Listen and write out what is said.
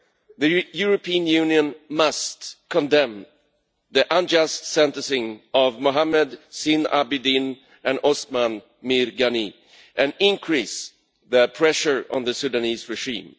The European Union must condemn the unjust sentencing of Mohamed Zine al Abidine and Osman Mirgani, and increase the pressure on the Sudanese regime.